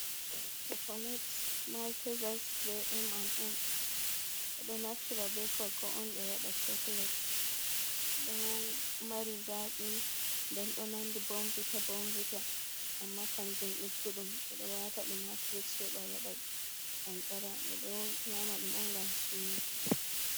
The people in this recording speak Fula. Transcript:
chakulet maltisas be m&m ɓe ɗo naftira be coco on ɓe waɗa, chakulet ɗo mari zaaqi nden ɗo nandi bomvita bomvita amma kamjum ɗigguɗum ɓe ɗo waata ɗum ha firiji heba waɗa qanqara, ɓe ɗo nyama ɗum on ngam suno.